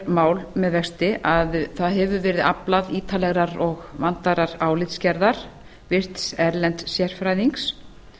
mál með vexti að það hefur verið aflað ítarlegrar og vandaðrar álitsgerðar virts erlends sérfræðings